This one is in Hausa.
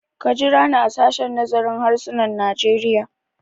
Ka jira ni a sashen nazarin harsunan Najeriya!